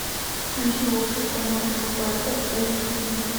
включи общество мертвых поэтов эйч ди